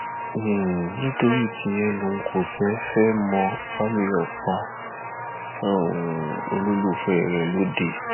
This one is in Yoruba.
um nítorí tíyẹn lòun kò fẹ ẹ mọ bámíyọ pa um olólùfẹ rẹ lọdẹ